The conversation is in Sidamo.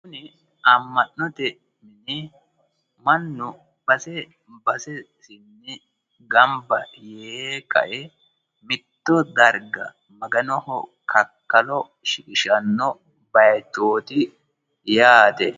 kuni amma'notenni mannu base basesinni gamba yee kae mitto darga maganoho kakkalo shiqishanno bayiichooti yaate.